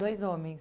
Dois homens?